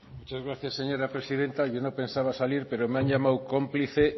muchas gracias señora presidenta yo no pensaba salir pero me han llamado cómplice